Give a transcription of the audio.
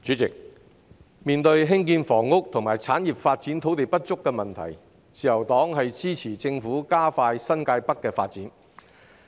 主席，面對興建房屋及產業發展土地不足的問題，自由黨支持政府加快新界北的發展。